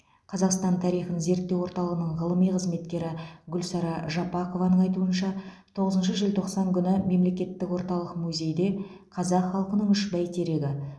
қазақстан тарихын зерттеу орталығының ғылыми қызметкері гүлсара жапақованың айтуынша тоғызыншы желтоқсан күні мемлекеттік орталық музейде қазақ халықының үш бәйтерегі